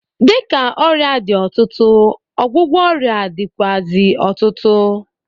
Dịka ọrịa dị ọtụtụ, ọgwụgwọ ọrịa dịkwuazị ọtụtụ.